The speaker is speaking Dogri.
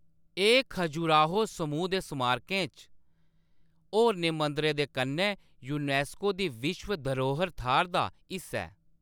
एह्‌‌ खजुराहो समूह् दे स्मारकै च होरनें मंदरें दे कन्नै यूनेस्को दी विश्व धरोह्र थाह्‌‌‌र दा हिस्सा ऐ।